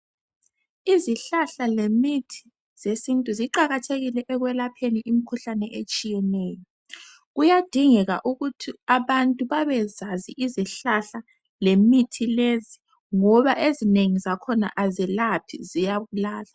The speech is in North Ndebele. Izihlahla lemithi zesintu ziqakathekile ekwelapheni imikhuhlane etshiyeneyo. Kuyadingeka ukuthi abantu babezazi izihlahla lemithi lezi ngoba ezinengi zakhona azelaphi ziyabulala.